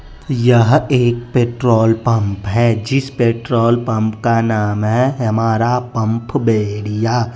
यह एक petrol pump है जिस पेट्रोल पंप का नाम है हमारा पम्फ बैरिया।